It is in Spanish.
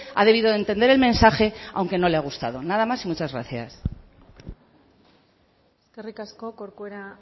ha debido de entender el mensaje aunque no le ha gustado nada más y muchas gracias eskerrik asko corcuera